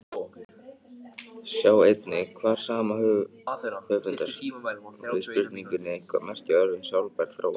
Sjá einnig svar sama höfundar við spurningunni Hvað merkja orðin sjálfbær þróun?